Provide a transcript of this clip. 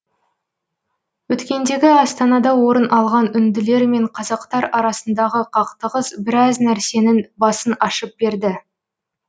өткендегі астанада орын алған үнділер мен қазақтар арасындағы қақтығыс біраз нәрсенің басын ашып берді